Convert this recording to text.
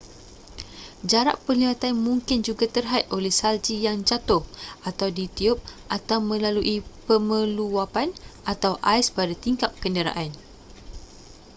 jarak penglihatan mungkin juga terhad oleh salji yang jatuh atau ditiup atau melalui pemeluwapan atau ais pada tingkap kenderaan